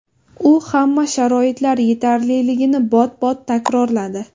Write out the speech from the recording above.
U hamma sharoitlar yetarliligini bot-bot takrorladi.